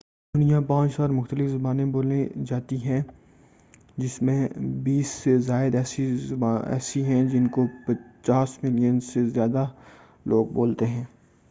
دنیا 5000 مختلف زبانیں بولی جاتی ہیں جن میں بیس سے زیادہ ایسی ہیں جن کو 50 ملین سے زیادہ لوگ بولتے ہیں